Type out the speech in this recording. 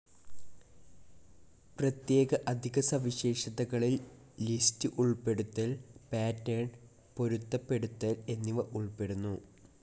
പ്രത്യേക അധിക സവിശേഷതകളിൽ ലിസ്റ്റ്‌ ഉൾപ്പെടുത്തൽ, പാറ്റർൻ പൊരുത്തപ്പെടുത്തൽ എന്നിവ ഉൾപ്പെടുന്നു.